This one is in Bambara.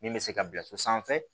Min bɛ se ka bila so sanfɛ